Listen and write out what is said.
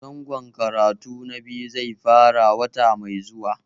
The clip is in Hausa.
Zangon karatu na biyu zai fara wata mai zuwa